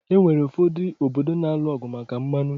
Onwere ụfọdụ obodo na-alụ ọgụ maka mmanụ